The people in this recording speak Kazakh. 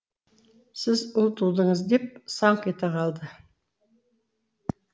сіз ұл тудыңыз деп саңқ ете қалды